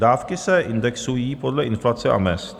Dávky se indexují podle inflace a mezd.